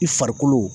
I farikolo